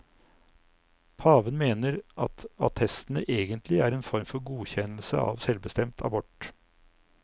Paven mener at attestene egentlig er en form for godkjennelse av selvbestemt abort.